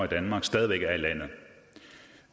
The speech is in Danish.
danmark stadig væk er i landet det